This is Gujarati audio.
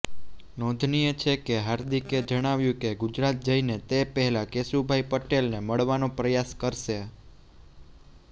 નોંધનીય છે કે હાર્દિકે જણાવ્યું કે ગુજરાત જઇને તે પહેલા કેશુભાઇ પટેલને મળવાનો પ્રયાસ કરશે